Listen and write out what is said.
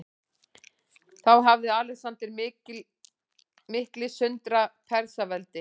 Þá hafði Alexander mikli sundrað Persaveldi.